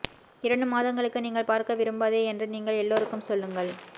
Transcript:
இரண்டு மாதங்களுக்கு நீங்கள் பார்க்க விரும்பாதே என்று நீங்கள் எல்லோருக்கும் சொல்லுங்கள்